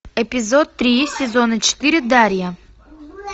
эпизод три сезона четыре дарья